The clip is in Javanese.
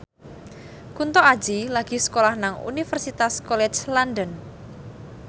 Kunto Aji lagi sekolah nang Universitas College London